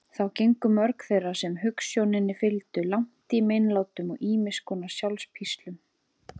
Þá gengu mörg þeirra sem hugsjóninni fylgdu langt í meinlátum og ýmiss konar sjálfspíslum.